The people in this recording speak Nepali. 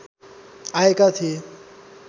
आएका थिए